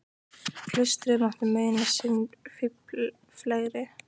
Klaustrið mátti muna sinn fífil fegri.